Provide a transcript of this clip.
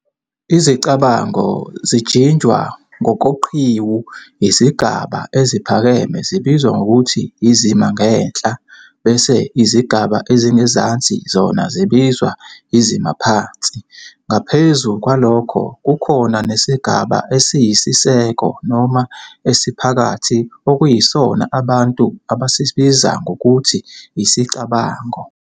Izicabango zijinjwa ngokoqhiwu, izigaba eziphakeme zibizwa ngokuthi "izima ngenhla" bese izigaba ezingezansi zona zibizwa "izima phansi". Ngaphezu kwalokho, kukhona nesigaba esiyisiseko noma esiphakathi okuyisona abantu abasibiza ngokuthi isicabango.